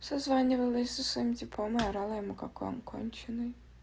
созванивалась со своим типом и орала ему какой он конченый